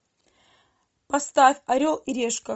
поставь орел и решка